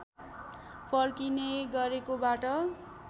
फर्किने गरेकोबाट